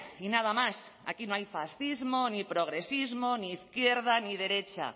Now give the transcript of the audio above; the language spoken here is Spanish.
y nada más y aquí no hay fascismo ni progresismo ni izquierda ni derecha